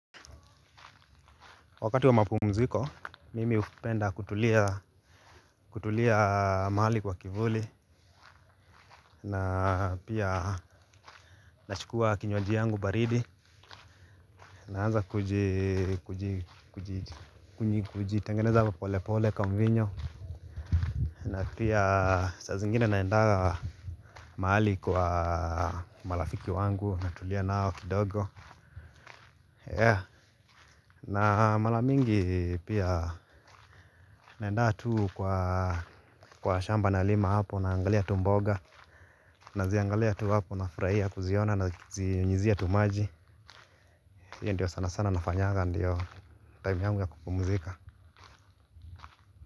Wakati wa mapumziko, mimi upenda kutulia maali kwa kivuli. Na pia nachukua kinywaji yangu baridi. Naanza kuji, kuji, kuji, kuji, kuji, kuji, kuji, tengeneza polepole ka mvinyo. Na pia saa zingine naenda mahali kwa marafiki wangu natulia nao kidogo Yeah, na mara mingi pia naenda tu kwa shamba nalima hapo naangalia tu mboga. Naziangalia tu hapo na furahia kuziona nazinyunyuzia tu maji hiyo ndio sana sana nafanyaga ndio time yangu ya kupumzika.